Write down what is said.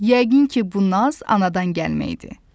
Yəqin ki, bu naz anadan gəlmə idi.